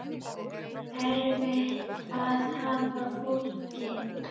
Er erfitt að hafna fólki?